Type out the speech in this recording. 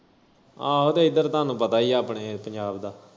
ਆਹੋ ਤੇ ਇੱਧਰ ਤੁਹਾਨੂੰ ਪਤਾ ਈ ਐ ਆਪਣੇ ਪੰਜਾਬ ਦਾ।